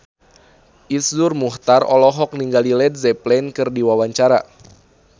Iszur Muchtar olohok ningali Led Zeppelin keur diwawancara